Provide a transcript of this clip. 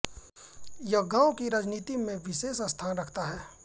यह गांव की राजनीति में विशेष स्थान रखता है